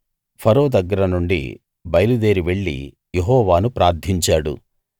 ఫరో దగ్గర నుండి బయలుదేరి వెళ్లి యెహోవాను ప్రార్థించాడు